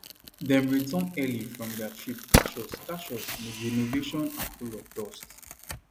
dem return early from their trip catch us catch us midrenovation and full of dust